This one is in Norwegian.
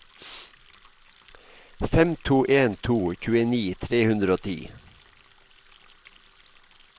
fem to en to tjueni tre hundre og ti